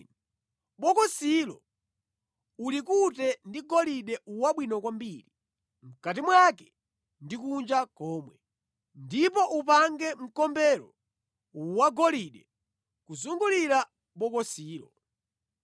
Bokosilo ulikute ndi golide wabwino kwambiri, mʼkati mwake ndi kunja komwe, ndipo upange mkombero wagolide kuzungulira bokosilo.